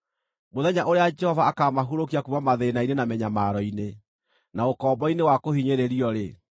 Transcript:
Mũthenya ũrĩa Jehova akaamũhurũkia kuuma mathĩĩna-inĩ na mĩnyamaro-inĩ, na ũkombo-inĩ wa kũhinyĩrĩrio-rĩ,